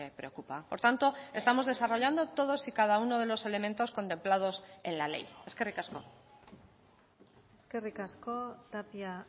preocupa por tanto estamos desarrollando todos y cada uno de los elementos contemplados en la ley eskerrik asko eskerrik asko tapia